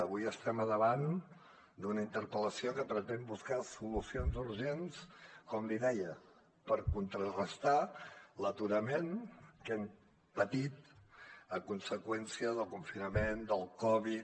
avui estem al davant d’una interpel·lació que pretén buscar solucions urgents com li deia per contrarestar l’aturament que hem patit a conseqüència del confinament del covid